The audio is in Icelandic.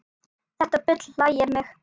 Þetta bull hlægir mig